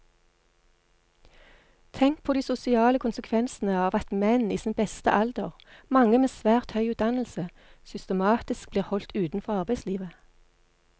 Tenk på de sosiale konsekvensene av at menn i sin beste alder, mange med svært høy utdannelse, systematisk blir holdt utenfor arbeidslivet.